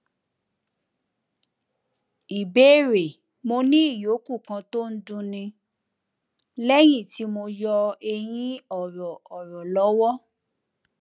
ìbéèrè mo ní ìyókù kan tó ń dunni léyìn tí mo yọ eyín ọrọ ọrọ lọwọ